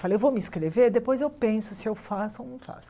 Falei, eu vou me inscrever, depois eu penso se eu faço ou não faço.